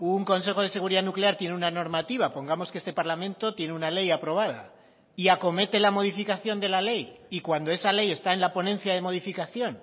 un consejo de seguridad nuclear tiene una normativa pongamos que este parlamento tiene una ley aprobada y acomete la modificación de la ley y cuando esa ley está en la ponencia de modificación